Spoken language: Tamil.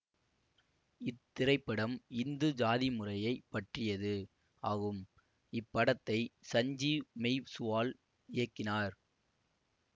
இத்திரைப்படம் இந்து சாதி முறையை பற்றியது ஆகும் இப் படத்தை சஞ்சீவ் மெய்சுவால் இயக்கினார்